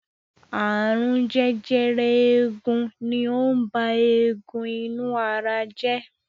Ààrùn jẹjẹrẹ eegun ni ó ń ba eegun inú ara jẹ́.